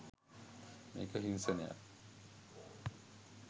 මේක හිංසනයක්